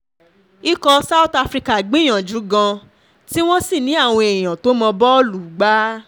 ikọ̀ south africa gbìyànjú gan tí wọ́n sì ní àwọn èèyàn tó mọ́ bọ́ọ̀lù gbà